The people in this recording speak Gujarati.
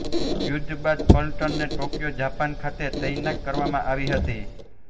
યુદ્ધ બાદ પલટણને ટોક્યો જાપાન ખાતે તૈનાત કરવામાં આવી હતી